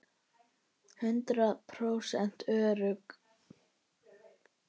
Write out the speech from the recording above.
Hundrað prósent örugg!